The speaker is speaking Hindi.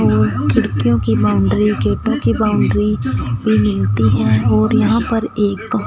खिड़कियों की बाउंड्री गेटों की बाउंड्री पर मिलती है और यहां पर एक--